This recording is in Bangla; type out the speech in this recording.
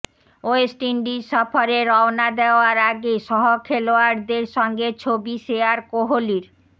ওয়েস্ট ইন্ডিজ সফরে রওনা দেওয়ার আগে সহ খেলোয়াড়দের সঙ্গে ছবি শেয়ার কোহলির